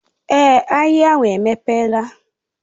Èé, ahịa ahụ emepela.